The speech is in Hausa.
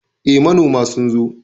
Eh, manoma sun zo